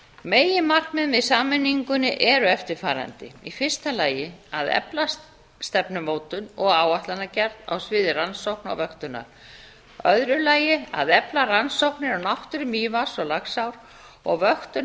megin markmið með sameiningu eru eftirfarandi í fyrsta lagi að efla stefnumótun og áætlanagerð á sviði rannsókna og vöktunar í öðru lagi að efla rannsóknir á náttúru mývatns og laxár og vöktun